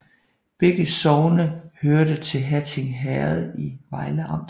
Begge sogne hørte til Hatting Herred i Vejle Amt